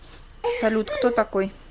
салют кто такой